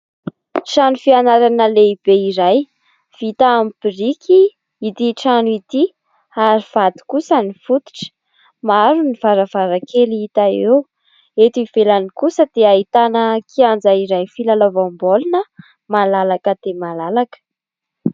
Trano fianarana lehibe iray. Vita amin'ny biriky ity trano ity ary vato kosa ny fototra. Maro ny varavarankely hita eo, eto ivelany kosa dia ahitana kianja iray filalaovaom-baolina malalaka dia malalaka.